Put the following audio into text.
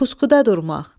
Puskuda durmaq.